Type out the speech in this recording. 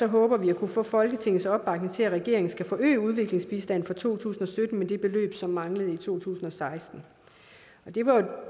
håber vi at kunne få folketingets opbakning til at regeringen skal forøge udviklingsbistanden for to tusind og sytten med det beløb som manglede i to tusind og seksten